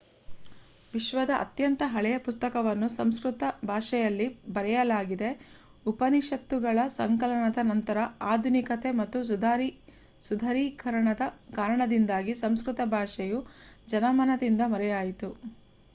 ವಿಶ್ವದ ಅತ್ಯಂತ ಹಳೆಯ ಪುಸ್ತಕವನ್ನು ಸಂಸ್ಕೃತ ಭಾಷೆಯಲ್ಲಿ ಬರೆಯಲಾಗಿದೆ ಉಪನಿಷತ್ತುಗಳ ಸಂಕಲನದ ನಂತರ ಆಧುನಿಕತೆ ಹಾಗೂ ಸುಧಾರೀಕರಣದ ಕಾರಣದಿಂದಾಗಿ ಸಂಸ್ಕೃತ ಭಾಷೆಯು ಜನಮನದಿಂದ ಮರೆಯಾಯಿತು